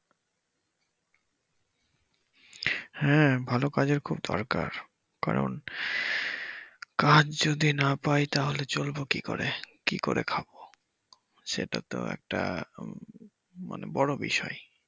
হ্যা ভালো কাজের খুব দরকার কারণ কাজ যদি না পাই তাহলে চলবো কি করে কি করে খাবো সেটা তো একটা উম মানে বড় বিষয়।